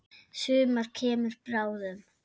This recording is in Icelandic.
Sumar kemur bráðum.